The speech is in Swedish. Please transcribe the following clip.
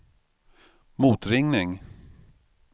motringning